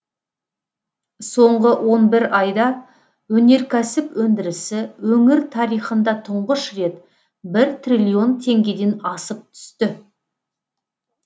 соңғы он бір айда өнеркәсіп өндірісі өңір тарихында тұңғыш рет бір триллион тенгеден асып түсті